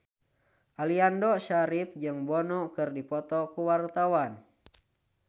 Aliando Syarif jeung Bono keur dipoto ku wartawan